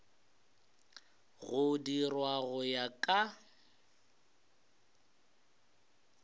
go dirwa go ya ka